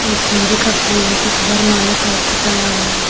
ये गेंदे का फूल है कुछ वरमाला टाइप का टंगा हुआ है।